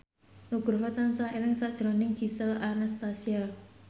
Nugroho tansah eling sakjroning Gisel Anastasia